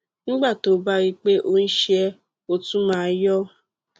nígbà tó o bá rí i pé o ń ṣe é ó tún máa ń yọ